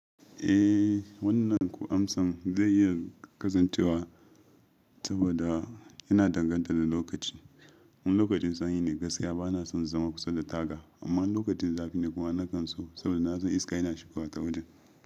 Eh, wannan amsan zai iya kasancewa saboda yana danganta da lokaci. In lokacin sanyi ne, gaskiya bana son zama kusa da taga amma lokacin zafi ne kuma na kanso saboda na san iska yana shigowa ta wurin.